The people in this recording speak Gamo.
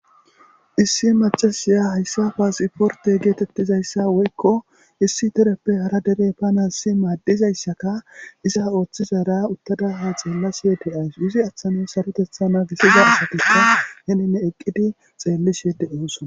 Issi maccashiya hayssa passiporte gettetizayssa woyko issi dereppe hara dere banasi madizayssa iza oththiza utada ha xelashe de'awusu izi matara saroteththa nagisiza asati eqqidi xelishe de'osona.